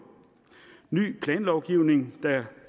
ny planlovgivning der